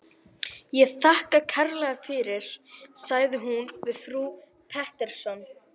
Ég þakka kærlega fyrir, sagði hún við frú Pettersson.